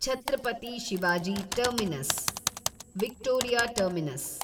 Chhatrapati Shivaji terminus, Victoria terminus